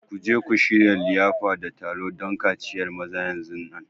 Ku je ku shirya liyafa da taro don kaciyar maza masu zuwa!